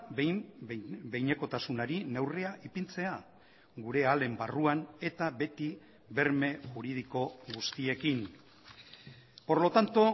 behin behinekotasunari neurria ipintzea gure ahalen barruan eta beti berme juridiko guztiekin por lo tanto